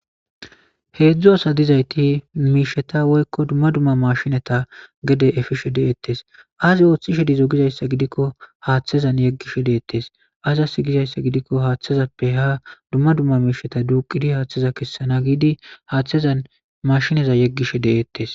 heedzdzu asa dizayti miisheta woykko dumma dumma mashineta gede efishe deeettes azi ooththishe dizo gizayssa gidikko haaththezan yeggish deettes aza sigizayssa gidikko haaththezappe ha dumma dumma miisheta duuqidi haaththeza kessana giidi haaththezan mashineza yeggishe deeettes